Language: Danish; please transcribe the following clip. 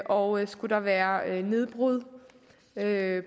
og skulle der være nedbrud af